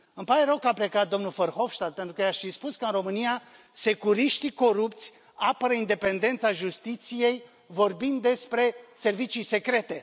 Îmi pare rău că a plecat domnul Verhofstadt pentru că i aș fi spus că în România securiștii corupți apără independența justiției vorbind despre servicii secrete.